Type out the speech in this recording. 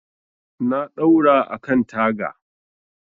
Na ɗaura a kan taga.